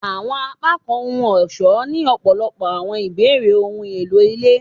Awọn apakan ohun-ọṣọ ni ọpọlọpọ awọn ibeere ohun elo ile